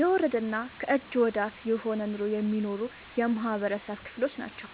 የወረደና ከእጅ ወዳፍ የሆነ ኑሮ የሚኖሩ የማህበረሰብ ክሎች ናቸው።